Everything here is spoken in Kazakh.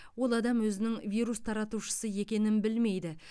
ол адам өзінің вирус таратушысы екенін білмейді